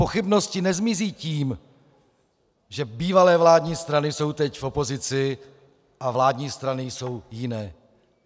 Pochybnosti nezmizí tím, že bývalé vládní strany jsou teď v opozici a vládní strany jsou jiné.